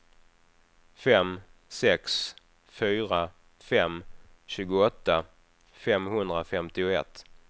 fem sex fyra fem tjugoåtta femhundrafemtioett